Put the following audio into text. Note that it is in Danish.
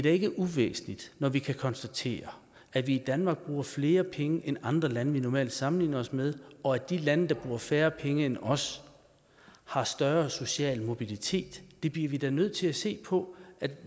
ikke uvæsentligt at vi kan konstatere at vi i danmark bruger flere penge end andre lande vi normalt sammenligner os med og at de lande der bruger færre penge end os har større social mobilitet det bliver vi da nødt til at se på